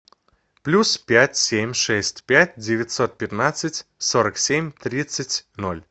плюс пять семь шесть пять девятьсот пятнадцать сорок семь тридцать ноль